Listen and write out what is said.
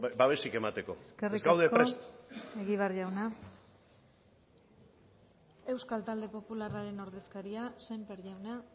babesik emateko ez gaude prest eskerrik asko egibar jauna euskal talde popularraren ordezkaria sémper jauna